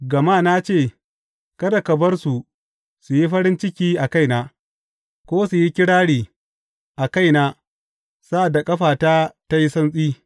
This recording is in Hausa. Gama na ce, Kada ka bar su su yi farin ciki a kaina ko su yi kirari a kaina sa’ad da ƙafata ta yi santsi.